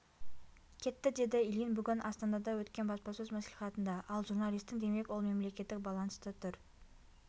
кетті деді ильин бүгін астанада өткен баспасөз мәслиіатында ал журналистің демек ол мемлекеттік баланста тұр